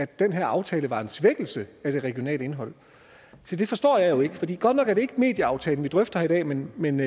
den her aftale er en svækkelse af det regionale indhold se det forstår jeg jo ikke for godt nok er det ikke medieaftalen vi drøfter i dag men men